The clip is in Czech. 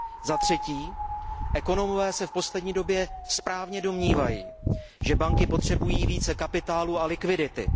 Za třetí, ekonomové se v poslední době správně domnívají, že banky potřebují více kapitálu a likvidity.